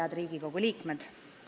Head Riigikogu liikmed!